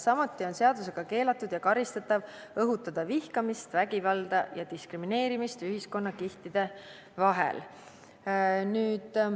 Samuti on seadusega keelatud ja karistatav õhutada vihkamist, vägivalda ja diskrimineerimist ühiskonnakihtide vahel.